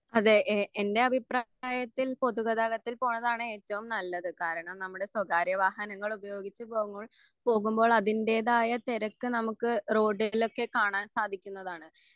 അതെ എ എന്റെ അഭിപ്രായത്തിൽ പൊതുഗതാഗത്തിൽ പോണതാണ് ഏറ്റവും നല്ലത് കാരണം നമ്മുടെ സ്വകാര്യ വാഹങ്ങൾ ഉപയോഗിച്ച് പോവുമ്പോൾ പോകുമ്പോൾ അതിന്റെതായ തെരക്ക് നമ്മുക്ക് റോഡിലൊക്കെ കാണാൻ സാധിക്കുന്നതാണ്.